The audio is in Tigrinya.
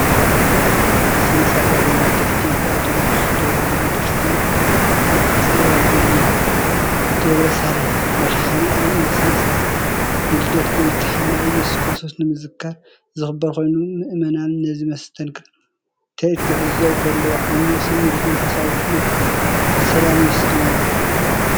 ስነ-ስርዓት ዋዜማ ልደት) ኢትዮጵያ ኦርቶዶክስ ተዋህዶ ቤተክርስትያን ኣብ ኣዲስ ኣበባ ቦሌ ደብረሳሌም መድሃኔኣለም ፣ እዚ ስነ-ስርዓት ንልደት ጐይታና ኢየሱስ ክርስቶስ ንምዝካር ዝኽበር ኮይኑ ምእመናን ነቲ መስተንክር ትርኢት ክዕዘቡ ከለዉ ዓሚቝ ስምዒት መንፈሳውነትን ሰላምን የስተማቕሩ።